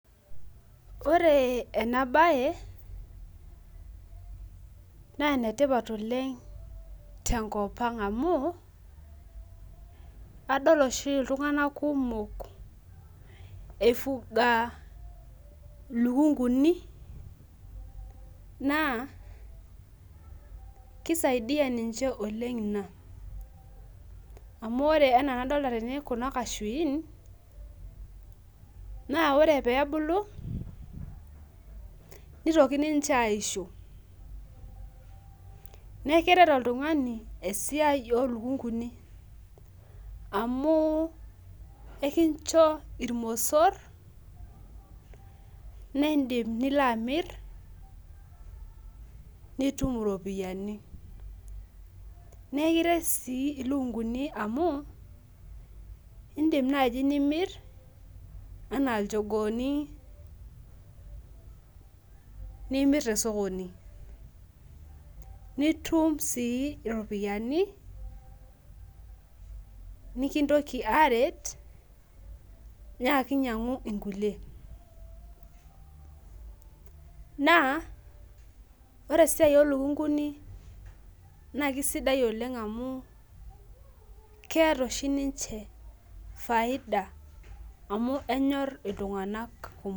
Ore enabae na enetipat oleng tenkopang amu adol oshi ltunganak kumok ifuga ilikunguni na kisaidia ninche oleng inq amu ore ena enadilta tene kunabkachuin na ore pebulu nitoki ninche aisho neaku keret oltungani esiai olukunguni amu ekincho irmosor nindim nilo amir nitum iropiyani na ekiret si ilikunguni amu indim nai nimir tosokoni nitum iropiyani nikintoki aret nyaiki nyangu nkulie na ore esiai olukunguni na kesidai oleng amu keeta oshi ninye faida amu kenyor ltunganak kumok.